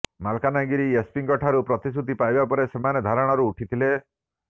ମାଲକାନଗିରି ଏସ୍ପିଙ୍କଠାରୁ ପ୍ରତିଶ୍ରୁତି ପାଇବା ପରେ ସେମାନେ ଧାରଣାରୁ ଉଠିଥିଲେ